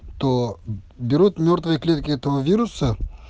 то берут мёртвые клетки этого вируса